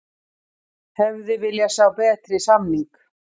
Hefði viljað sjá betri samning